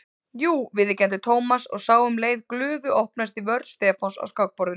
Jú viðurkenndi Thomas og sá um leið glufu opnast í vörn Stefáns á skákborðinu.